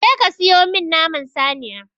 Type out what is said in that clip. Je ka siyo min naman saniya!